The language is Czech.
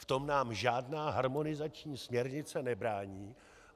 V tom nám žádná harmonizační směrnice nebrání.